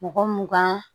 Mɔgɔ mugan